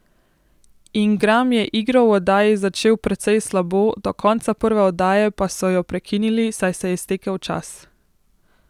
Ingram je igro v oddaji začel precej slabo, do konca prve oddaje pa so jo prekinili, saj se je iztekel čas.